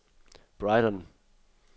Brighton